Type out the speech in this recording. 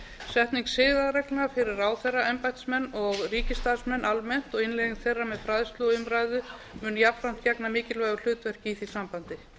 setning siðareglna fyrir ráðherra embættismenn og ríkisstarfsmenn almennt og innleiðing þeirra með fræðslu og umræðu mun jafnframt gegna mikilvægu hlutverki í því sambandi